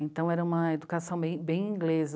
Então, era uma educação bem, bem inglesa.